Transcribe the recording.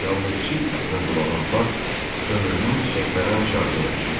Yalnız çiy ətnən dolanan bağ ömrünün çiçəklənən çağını yaşayır.